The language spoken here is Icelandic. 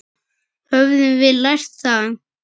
Höfum við lært það?